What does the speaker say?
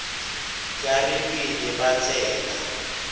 tla re pele ba tsena